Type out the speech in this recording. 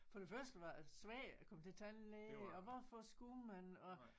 For det første var det svært at komme til tandlæge og hvorfor skulle man og